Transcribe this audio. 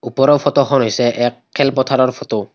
ওপৰৰ ফটো খন হৈছে এক খেল পথাৰৰ ফটো ।